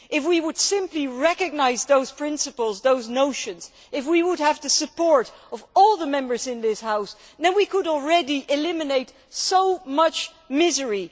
If we simply recognised those principles and notions, and if we had the support of all the Members in this House, then we could already eliminate so much misery.